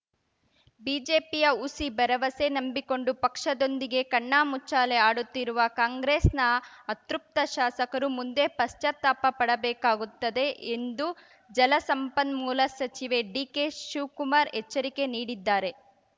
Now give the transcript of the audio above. ಬಿಜೆಪಿಯ ಹುಸಿ ಭರವಸೆ ನಂಬಿಕೊಂಡು ಪಕ್ಷದೊಂದಿಗೆ ಕಣ್ಣಾಮುಚ್ಚಾಲೆ ಆಡುತ್ತಿರುವ ಕಾಂಗ್ರೆಸ್‌ನ ಅತೃಪ್ತ ಶಾಸಕರು ಮುಂದೆ ಪಶ್ಚಾತ್ತಾಪ ಪಡಬೇಕಾಗುತ್ತದೆ ಎಂದು ಜಲಸಂಪನ್ಮೂಲ ಸಚಿವೆ ಡಿಕೆಶಿವಕುಮಾರ್‌ ಎಚ್ಚರಿಕೆ ನೀಡಿದ್ದಾರೆ